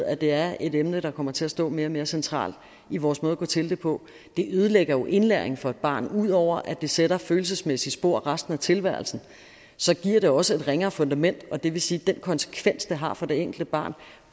at det er et emne der kommer til at stå mere og mere centralt i vores måde at gå til det på det ødelægger jo indlæringen for et barn ud over at det sætter følelsesmæssige spor resten af tilværelsen giver det også et ringere fundament og det vil sige at de konsekvenser det har for det enkelte barn